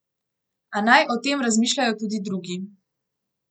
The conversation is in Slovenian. A naj o tem razmišljajo tudi drugi.